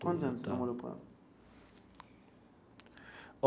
Quantos anos você namorou com ela?